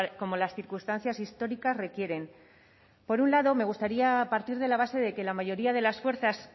como las circunstancias históricas requieren por un lado me gustaría partir de la base de que la mayoría de las fuerzas